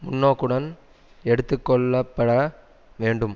முன்னோக்குடன் எடுத்து கொள்ளப்பட வேண்டும்